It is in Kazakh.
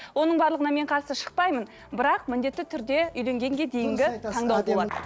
оның барлығына мен қарсы шықпаймын бірақ міндетті түрде үйленгенге дейінгі таңдау болады